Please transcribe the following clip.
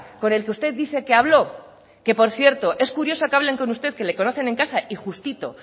con el que usted dice que habló que por cierto es curioso que hablen con usted que le conocen en casa y justito